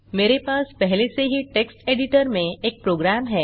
मेरे पास पहले से ही टेक्स्ट एडिटर में एक प्रोग्राम है